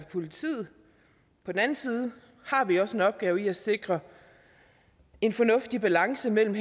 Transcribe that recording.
politiet på den anden side har vi også en opgave i at sikre en fornuftig balance mellem